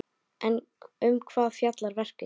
En um hvað fjallar verkið?